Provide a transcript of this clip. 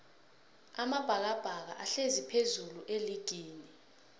amabhakabhaka ahlezi phezullu eligini